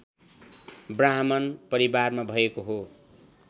ब्राह्मण परिवारमा भएको हो